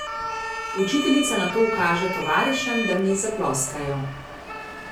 Učiteljica nato ukaže tovarišem, da mi zaploskajo.